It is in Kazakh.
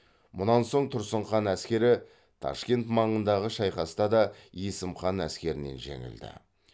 мұнан соң тұрсын хан әскері ташкент маңындағы шайқаста да есім хан әскерінен жеңілді